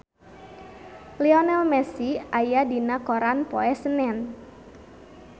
Lionel Messi aya dina koran poe Senen